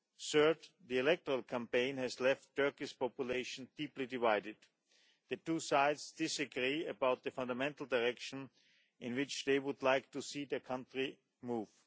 Third, the electoral campaign has left Turkey's population deeply divided. The two sides disagree about the fundamental direction in which they would like to see their country move.